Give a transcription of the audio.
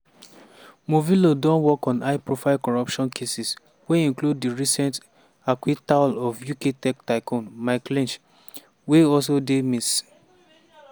morvillo don work on high profile corruption cases wey include di recent acquittal of uk tech tycoon mike lynch – wey also dey miss.